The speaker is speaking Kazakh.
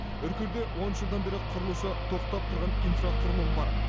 үркерде он жылдан бері құрылысы тоқтап тұрған инфрақұрылым бар